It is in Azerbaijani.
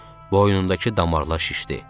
Boynundakı damarlar şişdi.